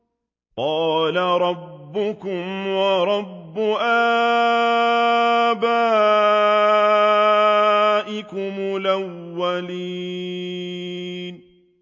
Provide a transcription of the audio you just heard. قَالَ رَبُّكُمْ وَرَبُّ آبَائِكُمُ الْأَوَّلِينَ